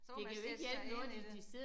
Så må man sætte sig ind i det